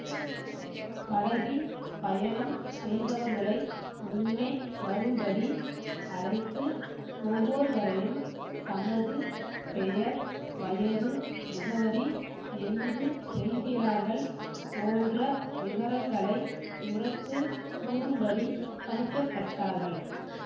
படகில் பயணம் செய்தவர்களை முன்னே வரும்படி அழைத்து ஒவ்வோருவரையும் தமது பெயர் வயது முகவரி எங்கு செல்கிறார்கள் போன்ற விவரங்களை உரத்து கூறும்படி பணிக்கப்பட்டார்கள்